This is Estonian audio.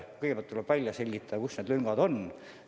Kõigepealt tuleb välja selgitada, kus need lüngad on.